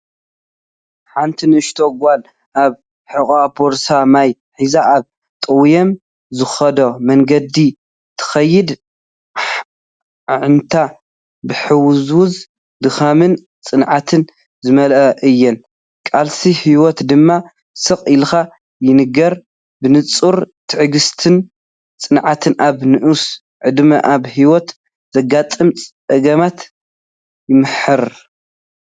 ሓንቲ ንእሽቶ ጓል ኣብ ሕቖኣ ቦርሳ ማይ ሒዛ ኣብ ጠውዮም ዝኸዱ መንገዲ ትኸይድ። ኣዒንታ ብሕውስዋስ ድኻምን ጽንዓትን ዝመልኣ እየን፤ ቃልሲ ህይወት ድማ ስቕ ኢሉ ይንገር። ብንጹር ትዕግስትን ጽንዓትን ኣብ ንኡስ ዕድመ ኣብ ህይወት ዘጋጥም ጸገማትን ይምህር።